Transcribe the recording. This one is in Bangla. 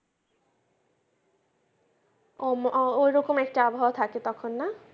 ওরকম একটা আবহাওয়া থাকে তখন না?